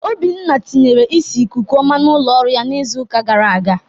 Obinna tinyere ìsiì ikuku oma n'ụlọọrụ ya n'izuụka gara aga.